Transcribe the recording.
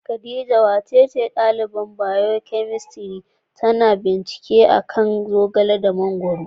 Khadijah, wacacan dalibain biyokemistri tana yin bincike a'kan ganyen Zogale da Mangoro.